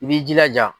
I b'i jilaja